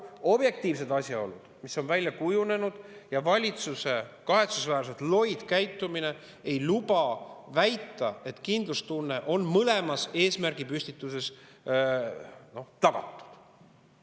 Paraku objektiivsed asjaolud, mis on välja kujunenud, ja valitsuse kahetsusväärselt loid käitumine ei luba väita, et kindlustunne on mõlemas eesmärgipüstituses tagatud.